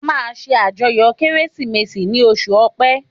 A máa ṣe àjọyọ̀ Kérésìmesì ni oṣù ọpẹ